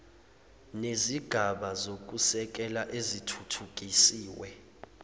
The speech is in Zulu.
nezigaba zokusekela ezithuthukisiwe